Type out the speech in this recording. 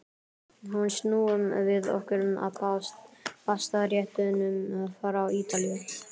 Nú snúum við okkur að pastaréttunum frá Ítalíu.